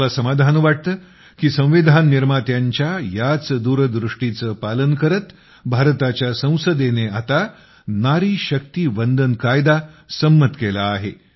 मला समाधान वाटते की संविधान निर्मात्यांच्या याच दूरदृष्टीचे पालन करत भारताच्या संसदेने आता नारी शक्ती वंदन कायदा संमत केला आहे